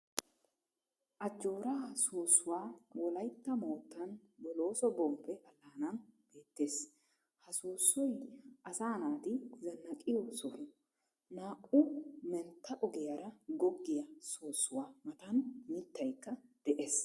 Ajjooraa soossuwa wolaytta moottan boloosso bombbe alaanan beettees, ha soosoy asaa naati zanaqqiyo soho, naa"u mettaa ogiyaara goggiya soossuwa matan mitaykka de'ees.